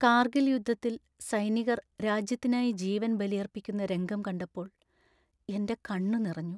കാർഗിൽ യുദ്ധത്തിൽ സൈനികർ രാജ്യത്തിനായി ജീവൻ ബലിയർപ്പിക്കുന്ന രംഗം കണ്ടപ്പോൾ എൻ്റെ കണ്ണുനിറഞ്ഞു.